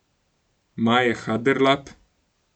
Maje Haderlap?